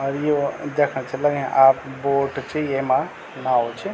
और यो देखण छ लग्याँ आप बोट च येमा नाव च।